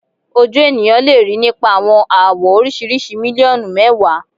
Oju eniyan le rii nipa awọn awọ oriṣiriṣi miliọnu mẹwa